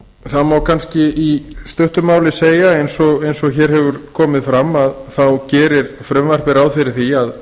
það kannski í stuttu máli segja eins og hér hefur komið fram að þá gerir frumvarpið ráð fyrir því að